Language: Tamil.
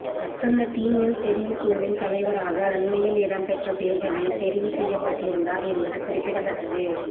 அசந்த டி மெல் தெரிவுக் குழுவின் தலைவராக அண்மையில் இடம்பெற்ற தேர்தலில் தெரிவு செய்யப்பட்டிருந்தார் என்பது குறிப்பிடத்தக்கது